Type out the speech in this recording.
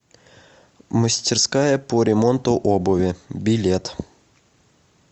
мастерская по ремонту обуви билет